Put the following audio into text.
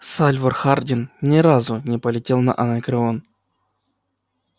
сальвор хардин не разу не полетел на анакреон